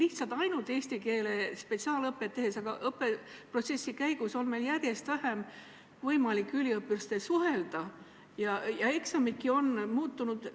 Mitte ainult eesti keele spetsiaalõpet tehes, aga üldse õppeprotsessi käigus on järjest vähem võimalik üliõpilastega suhelda ja eksamidki on muutnud.